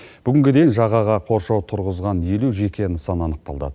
бүгінгіде жағаға қоршау тұрғызған елу жеке нысан анықталды